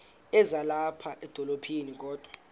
ezilapha edolophini kodwa